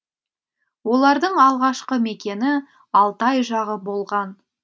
олардың алғашқы мекені алтай жағы болған